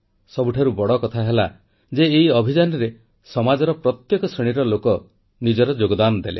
ସବୁଠାରୁ ବଡ଼ କଥା ହେଲା ଯେ ଏହି ଅଭିଯାନରେ ସମାଜର ପ୍ରତ୍ୟେକ ଶ୍ରେଣୀର ଲୋକ ନିଜର ଯୋଗଦାନ ଦେଲେ